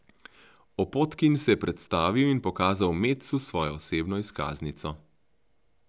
Opotkin se je predstavil in pokazal Metsu svojo osebno izkaznico.